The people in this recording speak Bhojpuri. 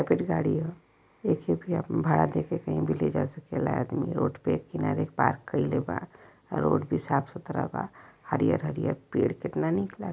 सफेद गाड़ी ह एके भी अपन भाड़ा देके कहीं भी ले जा सकेला आदमी रोड पे किनारे पार्क कइले बा। रोड भी साफ सुथरा बा। हरिहर-हरिहर पेड़ कितना निक ला --